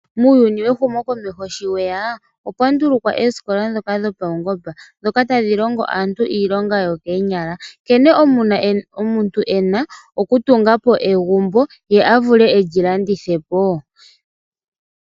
Muuyuni wehumokomeho sho weyaa, opwa ndulukwa eeskola ndhoka dhopaungomba, dhoka tadhi longo aantu iilonga yokeenyala, nkene omuntu e na okutunga po egumbo, ye a vule eli landithe po woo.